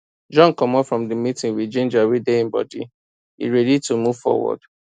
john commot from the meeting with ginger wey dey him body e dey ready to move forward